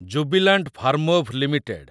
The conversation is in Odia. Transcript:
Jubilant Pharmova limited